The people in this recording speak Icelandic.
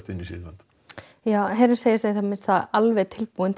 inn í Sýrland ja herinn segist í það minnsta alveg tilbúinn